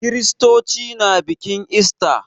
Kiristoci na bikin ista.